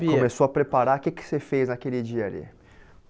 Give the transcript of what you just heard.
Você começou a preparar, o que que você fez naquele dia ali?